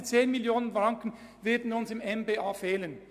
Diese 10 Mio. Franken werden dem MBA einmal fehlen.